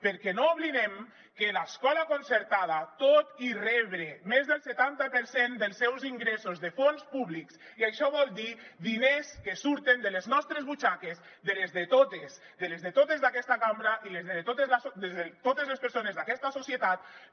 perquè no oblidem que l’escola concertada tot i rebre més del setanta per cent dels seus ingressos de fons públics i això vol dir diners que surten de les nostres butxaques de les de totes de les de totes d’aquesta cambra i de les de totes les persones d’aquesta societat